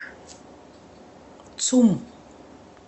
цум